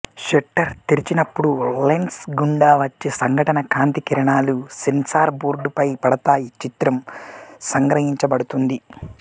shutter తెరిచినప్పుడు lens గుండా వచ్చే సంఘటన కాంతి కిరణాలు సెన్సార్ బోర్డ్ పై పడతాయి చిత్రం సంగ్రహించబడుతుంది